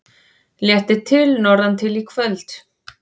Léttir til norðantil í kvöld